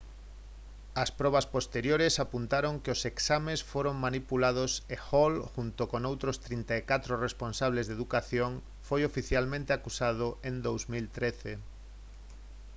as probas posteriores apuntaron a que os exames foran manipulados e hall xunto con outros 34 responsables de educación foi oficialmente acusado en 2013